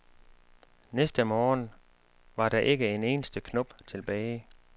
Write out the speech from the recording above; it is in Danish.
Næste morgen var der ikke en eneste knop tilbage.